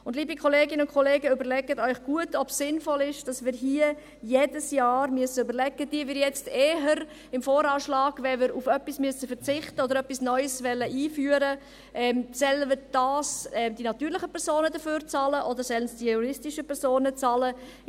Und, liebe Kolleginnen und Kollegen, überlegen Sie sich gut, ob es sinnvoll ist, dass wir beim VA jedes Jahr überlegen müssen, wenn wir auf etwas verzichten müssen oder etwas Neues einführen wollen, ob nun eher die natürlichen Personen dafür bezahlen oder ob die juristischen Personen bezahlen sollen.